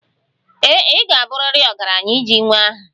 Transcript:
Ee e, ị ga-abụrịrị ọgaranya iji nwee aha.